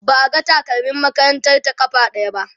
ba a ga takalmin makarantar ta ƙafa ɗaya ba